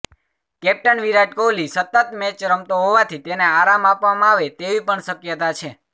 captain Virat Kohli સતત match રમતો હોવાથી તેને આરામ આપવામાં આવે તેવી પણ શક્યતા છે